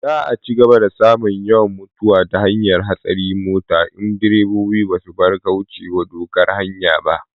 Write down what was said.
Za a cigaba da samun yawan mutuwa ta hanyar hatsarin mota in direbobi ba su bar kaucewa dokar hanya ba